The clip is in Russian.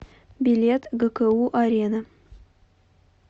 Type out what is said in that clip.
билет гку арена